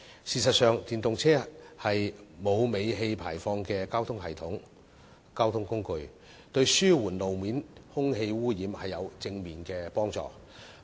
事實上，電動車是沒有尾氣排放的交通工具，對於紓緩路面空氣污染有正面幫助。